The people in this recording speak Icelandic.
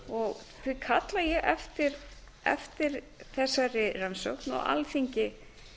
þrengra því kalla ég eftir þessari rannsókn og alþingi